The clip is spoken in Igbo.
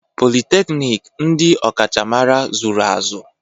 Politeknik, ndị ọkachamara zụrụ azụ.